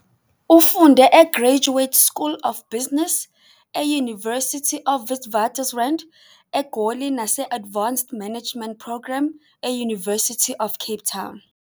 Ufunde e-Graduate School of Business e- University of Witwatersrand, eGoli nase-Advanced Management Program e- University of Cape Town